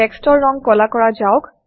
টেক্সটৰ ৰং কলা কৰা যাওক